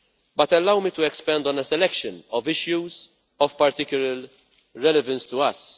But allow me to expand on a selection of issues of particular relevance to us.